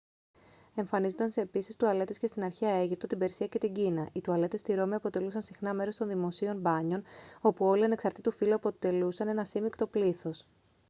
εμφανίζονταν επίσης τουαλέτες και στην αρχαία αίγυπτο την περσία και την κίνα οι τουαλέτες στη ρώμη αποτελούσαν συχνά μέρος των δημοσίων μπάνιων όπου όλοι ανεξαρτήτου φύλου αποτελούσαν ένα σύμμικτο πλήθος